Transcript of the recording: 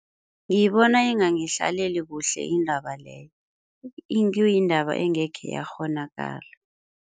Ngiyibona ingangihlaleli kuhle indaba leyo. Kuyindaba engekhe yakghonakala.